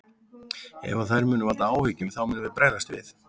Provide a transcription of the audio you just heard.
Ef að þær munu valda áhyggjum þá munum við bregðast við.